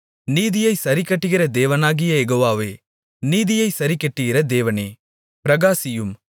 நீதியைச் சரிக்கட்டுகிற தேவனாகிய யெகோவாவே நீதியைச் சரிக்கட்டுகிற தேவனே பிரகாசியும்